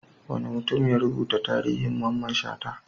Wani mutum ya rubuta tarihin Mamman Shata.